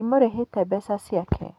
Ndimũrĩhĩte mbeca ciake.